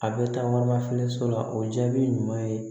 A bɛ taa waraba filɛ so la o jaabi ɲuman ye